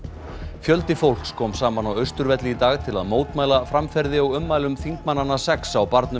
fjöldi fólks kom saman á Austurvelli í dag til að mótmæla framferði og ummælum þingmannanna sex á barnum